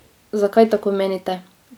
Zakaj tako menite?